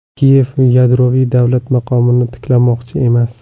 Kiyev yadroviy davlat maqomini tiklamoqchi emas.